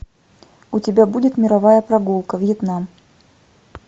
у тебя будет мировая прогулка вьетнам